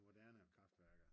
moderne kraftværker